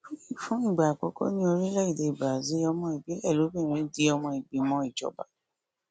fún ìgbà àkọkọ ní orílẹèdèe brazil ọmọ ìbílẹ lobìnrin di ọmọ ìgbìmọ ìjọba